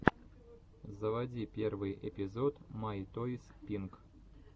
заводи первый эпизод май тойс пинк